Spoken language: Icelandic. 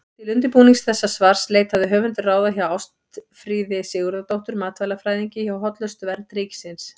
Til undirbúnings þessa svars leitaði höfundur ráða hjá Ástfríði Sigurðardóttur matvælafræðingi hjá Hollustuvernd ríkisins.